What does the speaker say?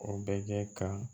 O bɛ kɛ ka